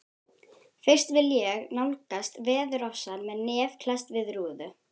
Fyrst vil ég nálgast veðurofsann með nef klesst við rúðu.